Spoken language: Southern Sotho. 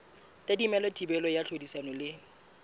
tadimilwe thibelo ya tlhodisano le